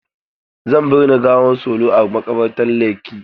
Zan binne gawar Solo a maƙabartan Lekki.